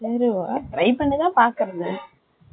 try பண்ணித்தான் பாக்குறது.